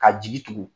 Ka jigi tugu